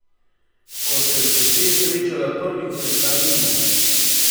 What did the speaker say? Ko sem se s tem srečala prvič, sem šla mimo.